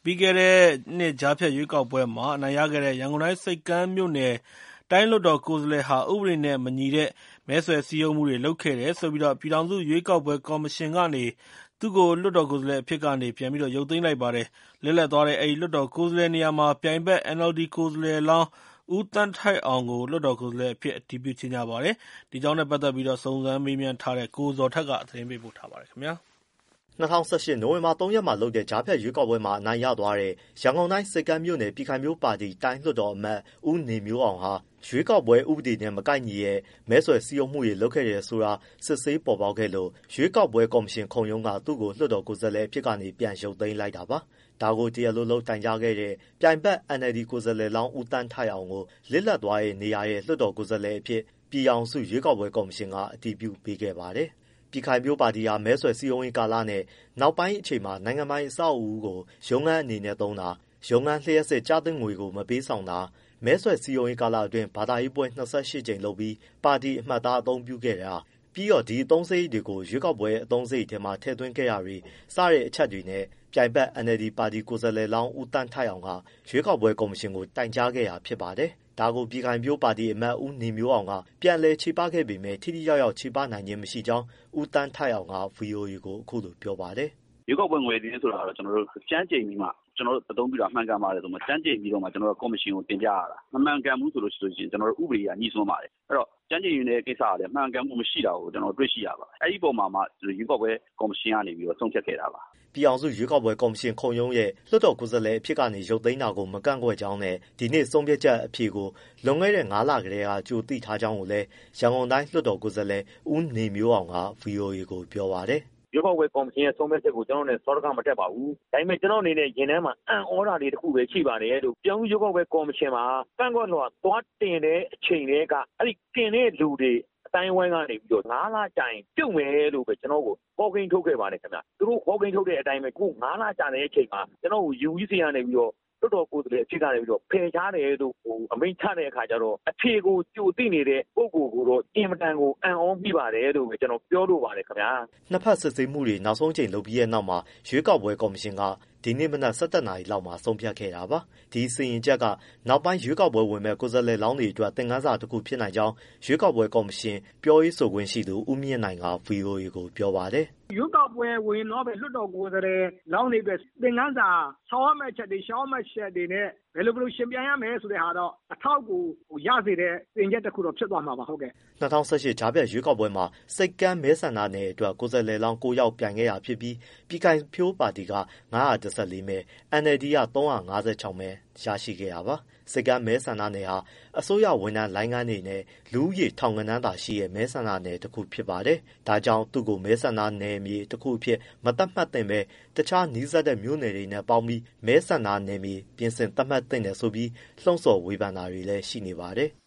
ီးခဲ့တဲ့နှစ် ကြားဖြတ်ရွေးကောက်ပွဲမှာ အနိုင်ရခဲ့တဲ့ ရန်ကုန်တိုင်းဆိပ်ကမ်းမြို့နယ် လွှတ်တော်ကိုယ်စားလှယ်ဟာ ဥပဒေနဲ့မညီတဲ့ မဲဆွယ်စည်းရုံးမှုတွေလုပ်ခဲ့တယ်ဆိုပြီး ပြည်ထောင်စုရွေးကောက်ပွဲကော်မရှင်ကနေ သူ့ကို လွှတ်တော်ကိုယ်စားလှယ်အဖြစ်က ပြန်ရုပ်သိမ်းလိုက်ပါတယ်။ လစ်လပ်သွားတဲ့ အဲဒီ လွှတ်တော်ကိုယ်စားလှယ်နေရာမှာ ပြိုင်ဖက် NLD ကိုယ်စားလှယ်လောင်း ဦးသန်းထိုက်အောင်ကို လွှတ်တော်ကိုယ်စားလှယ်အဖြစ် အတည်ပြုကြေညာပါတယ်။ စုံစမ်းမေးမြန်းထားတဲ့ ကိုဇော်ထက် သတင်းပေးပို့ထားပါတယ်။ ၂၀၁၈ နိုဝင်ဘာ ၃ရက်မှာလုပ်တဲ့ ကြားဖြတ်ရွေးကောက်ပွဲမှာ အနိုင်ရသွားတဲ့ ရန်ကုန်တိုင်း၊ ဆိပ်ကမ်းမြို့နယ် ပြည်ခိုင်ဖြိုးပါတီ တိုင်းလွှတ်တော်အမတ် ဦးနေမျိုးအောင်ဟာ ရွေးကောက်ပွဲဥပဒေနဲ့မကိုက်ညီတဲ့ မဲဆွယ်စည်းရုံးမှုတွေ လုပ်ခဲ့တယ်ဆိုတာ စစ်ဆေးပေါ်ပေါက်ခဲ့လို့ ရွေးကောက်ပွဲကော်မရှင်ခုံရုံးက သူ့ကို လွှတ်တော်ကိုယ်စားလှယ်အဖြစ်ကနေ ပြန်ရုတ်သိမ်းလိုက်တာပါ။ ဒါကို တရားလိုလုပ်တိုင်ကြားခဲ့တဲ့ ပြိုင်ဖက် NLD ကိုယ်စားလှယ်လောင်း ဦးသန်းထိုက်အောင်ကို လပ်လစ်သွားတဲ့နေရာရဲ့လွှတ်တော်ကိုယ်စားလှယ်အဖြစ် ပြည်ထောင်စုရွေးကောက်ပွဲကော်မရှင်က အတည်ပြုပေးခဲ့ပါတယ်။ ပြည်ခိုင်ဖြိုးပါတီဟာ မဲဆွယ်စည်းရုံးရေးကာလနဲ့ နောက်ပိုင်းအချိန်မှာ နိုင်ငံပိုင်အဆောက်အဦးကို ရုံးခန်းအနေနဲ့သုံးတာ၊ ရုံးခန်းလျှပ်စစ်ကျသင့်ငွေမပေးဆောင်တာ၊ မဲဆွယ်စည်းရုံးရေး ကာလအတွင်း ဘာသာရေးပွဲ၂၈ကြိမ်လုပ်ပြီး ပါတီအမှတ်အသားအသုံးပြုခဲ့တာ၊ ပြီးတော့အဲဒီအသုံးစရိတ်တွေကို ရွေးကောက်ပွဲအသုံးစရိတ်ထဲမှာထည့်သွင်းခဲ့တာတွေ စတဲ့ အချက်အလက်တွေနဲ့ ပြိုင်ဘက် NLD ပါတီကိုယ်စားလှယ်လောင်း ဦးသန်းထိုက်အောင်က ရွေးကောက်ပွဲကော်မရှင်ကို တိုင်ကြားခဲ့တာဖြစ်ပါတယ်။ ဒါကို ပြည်ခိုင်ဖြိုးပါတီအမတ် ဦးနေမျိုးအောင်က ပြန်ချေပခဲ့ပေမဲ့ ထိထိရောက်ရောက်ချေပနိုင်ခြင်းမရှိကြောင်း ဦးသန်းထိုက်အောင်က ဗွီအိုအေကို အခုလိုပြောပါတယ်။ “ ရွေးကောက်ပွဲငွေစာရင်းဆိုတာ ကျနော်တို့ ကျမ်းကျိန်ပြီးမှ အသုံးပြုတာမှန်ကန်ပါတယ်ဆိုပြီး ကော်မရှင်ကို တင်ပြရတာ။ မမှန်ကန်ဘူးဆိုရင် ကျနော်တို့ ဥပဒေအရညိစွန်းပါတယ်။ အဲဒီတော့ ကျမ်းကျိန်တဲ့ကိစ္စကလည်း မှန်ကန်မှုမရှိတာကို ကျနော်တို့တွေ့ရှိရပါတယ်။ အဲဒီအပေါ်မှာမှ ရွေးကောက်ပွဲကော်မရှင်ကနေ ဆုံးဖြတ်ခဲ့တာပါ။” ပြည်ထောင်စုရွေးကောက်ပွဲကော်မရှင်ခုံရုံးရဲ့ လွှတ်တော်ကိုယ်စားလှယ်အဖြစ်က ရုတ်သိမ်းတာကို မကန့်ကွက်ကြောင်းနဲ့ ဒီနေ့ဆုံးချက်အဖြေကို လွန်ခဲ့တဲ့ငါးလလောက်ကတည်းက ကြိုတင်သိထားကြောင်းကိုလည်း ရန်ကုန်တိုင်းလွှတ်တော်ကိုယ်စားလှယ် ဦးနေမျိုးအောင်က ဗွီအိုအေကို ပြောပါတယ်။ “ ရွေးကောက်ပွဲကော်မရှင်ရဲ့ ဆုံးဖြတ်ချက်ကို ကျနော့်အနေနဲ့ စောဒက မတက်ပါဘူး။ ဒါပေမဲ့ ကျနော့်အနေနဲ့ရင်ထဲမှာ အံ့သြမိတာလေးတခုပဲရှိပါတယ်။ ပြည်ထောင်စုရွေးကောက်ပွဲ ကော်မရှင်မှာ ကန့်ကွက်လွှာသွားတင်တဲ့အချိန်ကတည်းက အဲဒီတင်တဲ့လူတွေ အသိုင်းအဝန်းကနေ ကျနော်ငါးလကြာရင် ပြုတ်မယ်လို့ပဲ ကျနော့ကို ဟောကိန်းထုတ်ခဲ့ပါတယ်။ သူတို့ဟောကိန်းထုတ်တဲ့အတိုင်းပဲ ငါးလကြာတဲ့အခါမှာ ကျနော့ကို UEC ကနေပြီးတော့ လွှတ်တော်ကိုယ်စားလှယ်အဖြစ်ကနေ ဖယ်ရှားတယ်လို့ အမိန့်ချတဲ့အခါကျတော့ အဖြေကိုကြိုသိနေတဲ့ ပုဂ္ဂိုလ်ကိုတော့ အင်မတန်ကို အံ့သြမိပါတယ်လို့ ကျနော်ပြောလိုပါတယ်ခင်ဗျာ။” နှစ်ဘက်စစ်ဆေးမှုတွေ နောက်ဆုံးအကြိမ်လုပ်ပြီးတဲ့နောက်မှာ ရွေးကောက်ပွဲကော်မရှင် ဒီမနက် ၁၁နာရီလောက်မှာဆုံးဖြတ်ခဲ့တာပါ။ ဒီစီရင်ချက်ကနောက်ပိုင်း ရွေးကောက်ပွဲဝင်မယ့် ကိုယ်စားလှယ်လောင်းတွေအတွက် သင်ခန်းစာတခုဖြစ်နိုင်ကြောင်း ပြည်ထောင်စု ရွေးကော်ပွဲကော်မရှင် ပြောခွင့်ရသူ ဦမြင့်နိုင်က ဗွီအိုအေကို ပြောပါတယ်။ “ ရွေးကောက်ပွဲဝင်တော့မယ့် လွှတ်တော်ကိုယ်စားလှယ်လောင်းတွေအတွက် သင်ခန်းစာ ဆောင်ရမယ့်အချက်တွေ၊ ဆောင်ရမယ့်အချက်တွေနဲ့ ဘယ်လိုယှဉ်ပြိုင်ရမယ်ဆိုတာ အထောက်အကူရစေတဲ့ စီရင်ချက်တခုတော့ဖြစ်သွားမှာပါ။” ၂၀၁၈ ကြားဖြတ်ရွေးကောက်ပွဲမှာ ဆိပ်ကမ်းမဲဆန္ဒနယ်အတွက် ကိုယ်စားလှယ်လောင်း ၉ ယောက်ပြိုင်ခဲ့တာဖြစ်ပြီး ပြည်ခိုင်ဖြိုးက ၅၁၄မဲ၊ NLDက ၃၅၆မဲ ရရှိခဲ့တာပါ။ ဆိပ်ကမ်းမဲဆန္ဒနယ်ဟာ အစိုးရဝန်ထမ်းလိုင်းခန်းတွေနဲ့ လူဦးရေထောင်ဂဏန်းသာရှိတဲ့ မဲဆန္ဒနယ်မြေတခုဖြစ်ပါတယ်။ ဒါကြောင့် သူ့ကို မဲဆန္ဒနယ်မြေတခုအနေနဲ့ မသတ်မှတ်သင့်ပဲ အခြားနီးစပ်တဲ့မြို့နယ်တွေနဲ့ ပေါင်းပြီး မဲဆန္ဒနယ်မြေ ပြင်ဆင်သတ်မှတ်သင့်တယ်ဆိုပြီး လှုံဆော်ဝေဖန်မှုတွေ ရှိနေပါတယ်။